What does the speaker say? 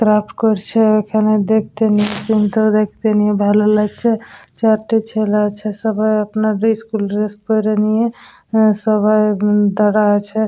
Craft করছে দেখতে নিয়ে সীন -ত দেখতে নিয়ে ভালো লাগছে চারটা ছেলা আছে সবাই আপনার ইস্কুল ড্রেস পড়ে নিয়ে আ সবাই উন দাঁড়া আছে।